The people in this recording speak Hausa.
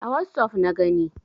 A wossof na gani.